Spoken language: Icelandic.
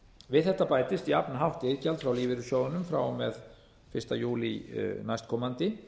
við þetta bætist jafnhátt iðgjald frá lífeyrissjóðunum frá og með fyrsta júlí næstkomandi